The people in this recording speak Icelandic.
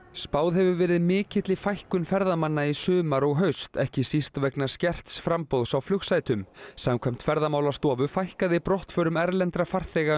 spáð hefur verið mikilli fækkun ferðamanna í sumar og haust ekki síst vegna skerts framboðs á flugsætum samkvæmt Ferðamálastofu fækkaði brottförum erlendra farþega